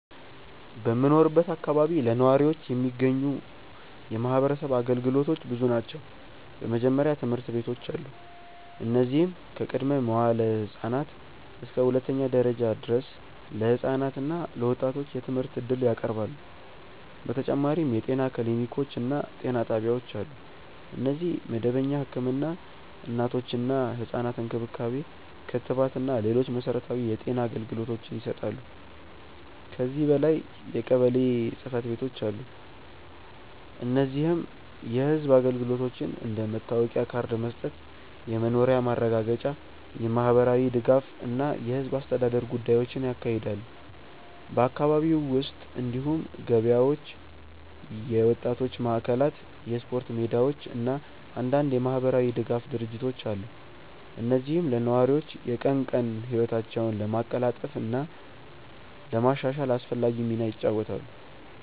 በምኖርበት አካባቢ ለነዋሪዎች የሚገኙ የማህበረሰብ አገልግሎቶች ብዙ ናቸው። በመጀመሪያ ትምህርት ቤቶች አሉ፣ እነዚህም ከቅድመ-መዋዕለ ህፃናት እስከ ሁለተኛ ደረጃ ድረስ ለህፃናት እና ለወጣቶች የትምህርት እድል ያቀርባሉ። በተጨማሪም የጤና ክሊኒኮች እና ጤና ጣቢያዎች አሉ፣ እነዚህም መደበኛ ህክምና፣ እናቶችና ህፃናት እንክብካቤ፣ ክትባት እና ሌሎች መሠረታዊ የጤና አገልግሎቶችን ይሰጣሉ። ከዚህ በላይ የቀበሌ ጽ/ቤቶች አሉ፣ እነዚህም የህዝብ አገልግሎቶችን እንደ መታወቂያ ካርድ መስጠት፣ የመኖሪያ ማረጋገጫ፣ የማህበራዊ ድጋፍ እና የህዝብ አስተዳደር ጉዳዮችን ያካሂዳሉ። በአካባቢው ውስጥ እንዲሁም ገበያዎች፣ የወጣቶች ማዕከላት፣ የስፖርት ሜዳዎች እና አንዳንድ የማህበራዊ ድጋፍ ድርጅቶች አሉ፣ እነዚህም ለነዋሪዎች የቀን ቀን ህይወታቸውን ለማቀላጠፍ እና ለማሻሻል አስፈላጊ ሚና ይጫወታሉ።